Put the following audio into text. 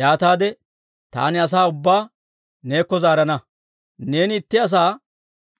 Yaataade taani asaa ubbaa neekko zaarana. Neeni itti asaa